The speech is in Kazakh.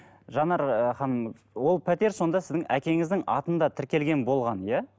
жанар ы ханым ол пәтер сонда сіздің әкеңіздің атында тіркелген болған иә